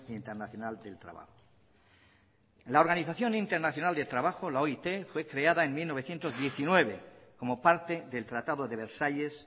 internacional del trabajo la organización internacional del trabajo la oit fue creada en mil novecientos diecinueve como parte del tratado de versalles